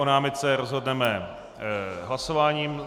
O námitce rozhodneme hlasováním.